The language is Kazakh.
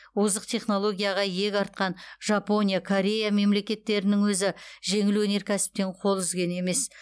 озық технологияға иек артқан жапония корея мемлекеттерінің өзі жеңіл өнеркәсіптен қол үзген емес